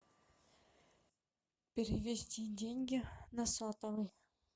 перевести деньги на сотовый